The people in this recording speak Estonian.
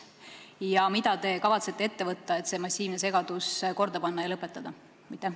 Ja mida te kavatsete ette võtta, et see massiivne segadus lõpetada?